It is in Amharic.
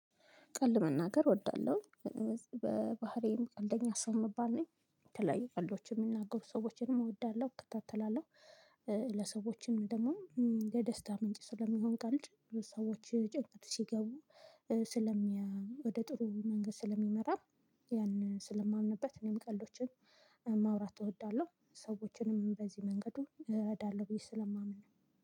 ቀልድ መናገር እወዳለሁ። በባህሪዬም ቀልደኛ ሰው ምባል ነኝ። የተለያዩ ቀልዶችን የሚናገሩ ሰዎችንም እወዳለሁ እከታተላለሁ። ለሰዎችም ደግሞ ለደስታ ምንጭ ስለሚሆን ቀልድ ሰዎች ጭንቀት ሲገቡ ስለሚያ ወደ ጥሩ መንገድ ስለሚመራ ያንን ስለማምንበት እኔም ቀልዶችን ማውራት እወዳለሁ፤ ሰዎችንም በዚህ መንገዱ እረዳለሁ ብዬ ስለማምን ነው።